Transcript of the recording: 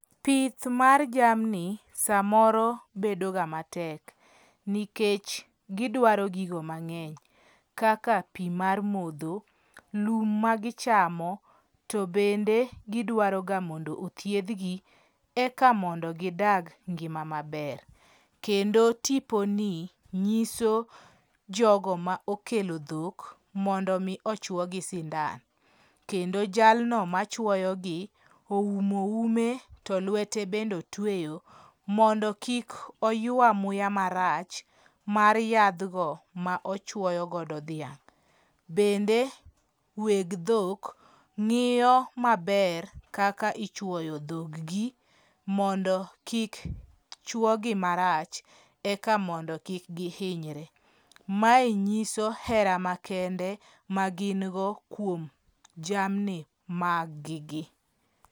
Pith mar jamni samoro bedo ga matek, nikech gidwaro gigo mang'eny kaka pii mar modho , lum ma gichamo. To bende gidwaro ga mondo othiedhgi eka gidag ngima maber. Kendo tipo ni nyiso jogo mokelo dhok mondo mi ochuogi sindan kendo jalno machuoyo gi oumo ume to luete bende otueyo mondo kik oywe muya marach mar yadhgo ma ochuoyo godo dhiang'. Bende weg dhok ng'iyo maber kaka ichuoyo dhog gi mondo kiki chuo gi marach eka mondo kik giinyre. Mae nyiso era makende ma gin go kuom jamni mag gi